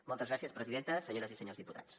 moltes gràcies presidenta senyores i senyors diputats